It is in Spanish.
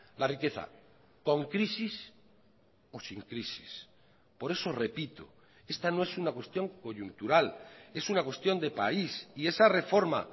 la riqueza con crisis o sin crisis por eso repito esta no es una cuestión coyuntural es una cuestión de país y esa reforma